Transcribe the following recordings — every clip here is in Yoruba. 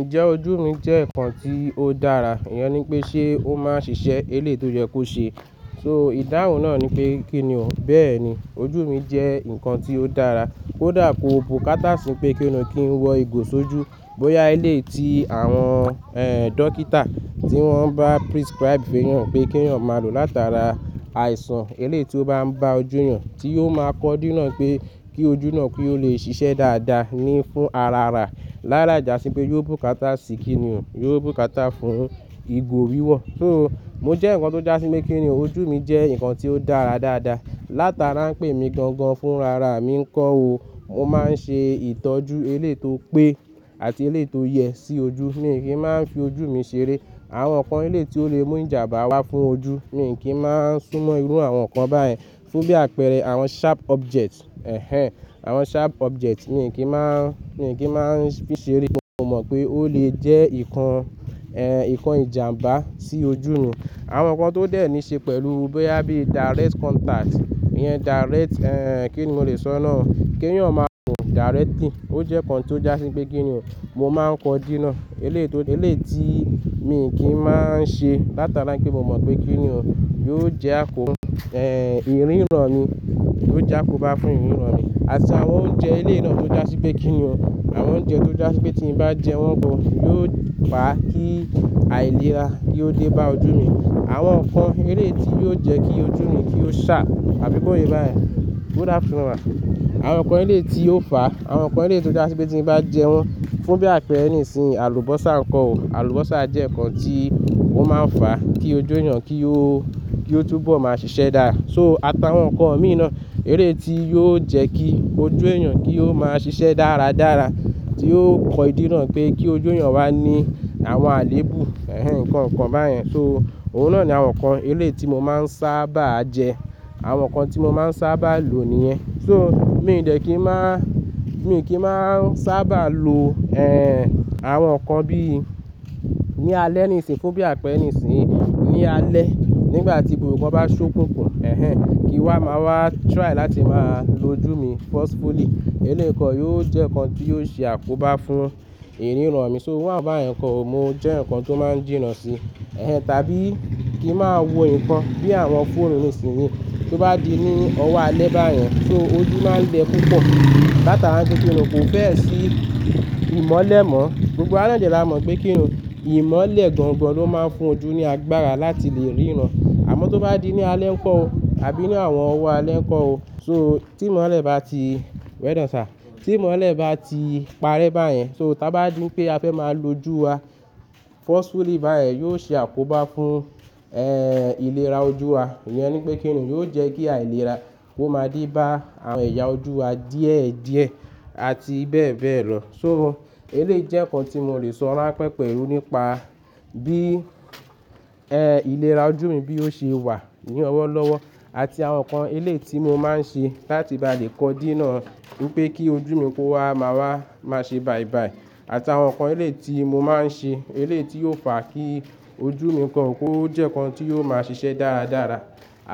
Ǹjẹ́ ojú mi jẹ́ ǹkan tí ó dára? Ìyẹn ni pé ṣe ó máa ń ṣiṣẹ́ elé to yẹ kó ṣe. So ìdáhùn náà ni pe kí ni òun. Bẹ́ẹ̀ ni ojú mi jẹ́ ǹkan tí ó dára. Ó dà kó bukata sí i pé kí ni kí n wọ ìgò sojú. Bóyá eléyi ti àwọn, ẹ́, dókítà tí wọ́n bá prescribe fún èèyàn pé kí èèyàn máa lò láti ara àìsàn eléyi to bá ń ba ojú èèyàn tí yóò máa kọ́ dí nà pé kí ojú náà kí ó lè ṣiṣẹ́ dáadáa ní fún ara rà. Lára ìjà sí i pé yóò bukata sí i kí ni òun, yóò bukata fún ìgò wíwọ̀. Ti o mo jẹ́ ǹkan tó dá sí mi kí ni òun ojú mi jẹ́ ǹkan tí ó dára dáadáa. Láti ara ń pè mí gangan fún ara mi ń kó o. Mo máa ń ṣe ìtọ́jú eléto pé àti eléto yẹ sí ojú. Mí kì í máa ń fi ojú mi ṣeré. Àwọn ǹkan eléto le mú ìjàmbá wá fún ojú. Mí èyí kì í máa ń súnmọ́ irú àwọn ǹkan báyẹn. Fún bí àpẹẹrẹ àwọn sharp objects, ẹ́hẹn, àwọn sharp objects mí kì í máa ń, mí kì í máa ń fi ṣeré. Mo mọ̀ pé ó lè jẹ́ ǹkan, ẹ́, ǹkan ìjàmbá sí ojú mi. Àwọn ǹkan tó dẹ̀ ní ṣe pẹ̀lú bóyá bí direct contact, ìyẹn direct, ẹ́, kí ni mo lè sọ náà. Kí èèyàn máa wùn directly. Ó jẹ́ ǹkan tí ó já sí pé kí ni òun. Mo máa ń kọ́ dí nà eléto, eléti mí kì máa ń ṣe. Láti ara ń kí mo mọ̀ pé kí ni òun yóò jẹ́ àkóbá, ẹ́, ìríràn mi, yóò já akóba fún ìríràn mi. Àti àwọn oúnjẹ elé i na tó já sí pé kí ni òun. Àwọn oúnjẹ tó já sí pé tí mo bá jẹ wọ́n gan yóò pa kí àìlera kí ó dé bá ojú mi. Àwọn ǹkan eléti yóò jẹ́ kí ojú mi kí ó ṣà àbí bóyè báyẹn. Good afternoon ma. Àwọn ǹkan eléti ó fà. Àwọn ǹkan eléti ó já sí pé tí mo bá jẹ wọ́n fún bí àpẹẹrẹ nìsìnyìí àlùbọ́sà nǹkan o. Àlùbọ́sà jẹ́ ǹkan tí ó máa ń fà kí ojú èèyàn kí ó, kí ó túbọ̀ máa ṣiṣẹ́ dára. So àtàwọn ǹkan imí ìná eléti yóò jẹ́ kí ojú èèyàn kí ó máa ṣiṣẹ́ dáradára tí yóò kọ dí nà pé kí ojú èèyàn wá ní àwọn àléébù. Ẹ̀hẹn, ǹkan, ǹkan báyẹn. So òun náà ni àwọn ǹkan eléti mo máa ń sábà jẹ. Àwọn ǹkan tí mo máa ń sábà lò níyẹn. So mí ò dẹ̀ kí ń máa, mí o kì í máa ń sábà lo, ẹ́, àwọn ǹkan bíi ní alẹ́ nìsìnyí fún bí àpẹẹrẹ nìsìnyí ní alẹ́ nígbà tí gbogbo nkan bá ṣókòkò, ẹ́hẹn, kí wá máa wá try láti máa lo ojú mi forcefully. Eléèkan yóò jẹ́ ǹkan tí yóò ṣe àkóbá fún ìríràn mi. So wọ́n àbá ẹ̀ ǹkan mo jẹ́ eyaǹkan tó máa ń jína sí. Ẹ̀hẹn, tàbí kí máa wo ǹkan bí àwọn fóònù nìsìnyí tó bá di ní ọwọ́ alẹ́ báyẹn. So ojú máa ń gbẹ púpọ̀. Láti ara ń ṣe kí ni òun kò fẹ́ ẹ̀ sí ìmọ́lẹ̀ mọ́. Gbogbo àná jẹ́ làá mọ̀ pé kí ni òun. Ìmọ́lẹ̀ gangan ló máa ń fún ojú ní agbára láti lè ríran. Àmọ́ tó bá di ní alẹ́ ǹkan o, àbí ní àwọn ọwọ́ alẹ́ ǹkan o. So tí ìmọ́lẹ̀ bá ti, well done sir, tí ìmọ́lẹ̀ bá ti parẹ́ báyẹn. So tí a bá di pé a fẹ́ máa lo ojú wa forcefully báyẹn yóò ṣe àkóbá fún, ẹ́, ìlera ojú wa. Ìyẹn ni pé kí ni òun yóò jẹ́ kí àìlera kó máa dé bá àwọn ẹ̀yà ojú wa díẹ̀ díẹ̀ àti bẹ́ẹ̀ bẹ́ẹ̀ lọ. So elé jẹ́ ǹkan tí mo lè sọ lá pẹ́ pẹ̀lú nípa bí, ẹ́, ìlera ojú mi bí ó ṣe wà ní ọwọ́lọ́wọ́ àti àwọn ǹkan eléti mo máa ń ṣe láti bá lè kọ́ dí nà wí pé kí ojú mi kó wá máa wá máa ṣe bàìbàì àti àwọn ǹkan eléti mo máa ń ṣe eléti ó fà kí ojú mi ǹkan kó jẹ́ ǹkan tí yóò máa ṣiṣẹ́ dáradára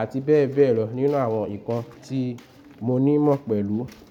àti bẹ́ẹ̀ bẹ́ẹ̀ lọ nínú àwọn ǹkan tí mo ní mọ̀ pẹ̀lú.